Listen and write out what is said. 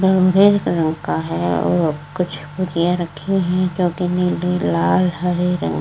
colour का है और कुछ रखी हैं जोकि नीले लाल हरे --